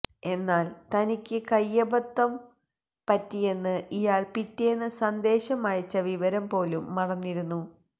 എന്നാല് തനിക്ക് കയ്യബദ്ധം പറ്റിയെന്ന് ഇയാള് പിറ്റേന്ന് സന്ദേശം അയച്ച വിവരം പോലും മറന്നിരുന്നു